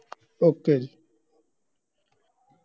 okay ਜੀ